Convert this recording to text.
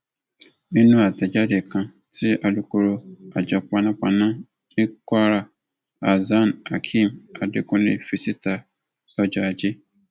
nínú àtẹjáde kan tí alūkkoro àjọ panápaná ni kwara hasanhakeem adekunle fi síta lọjọ ajé